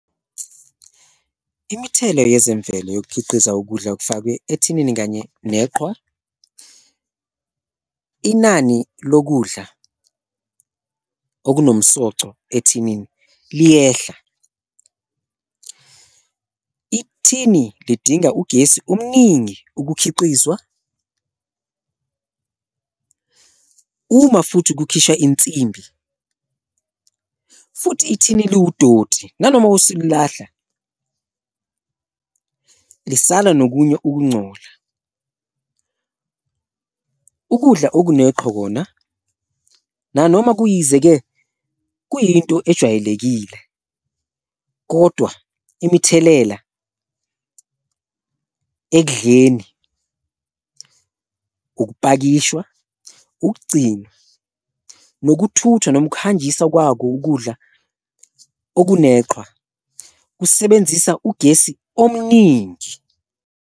Imithela yezemvelo yokukhiqiza ukudla okufakwe ethinini kanye neqhwa, inani lokudla okunomsoco ethinini liyehla, ithini lidinga ugesi omningi ukukhiqizwa, uma futhi kukhisha insimbi futhi ithini liwudoti nanoma usulilahla lisala nokunye ukuncola. Ukudla okuneqhwa kona nanoma kuyisize-ke kuyinto ejwayelekile kodwa imithelela ekudleni, ukupakishwa, ukugcinwa, nokuthuthwa nomkhangiswa kwako ukudla okuneqhwa kusebenzisa ugesi omningi.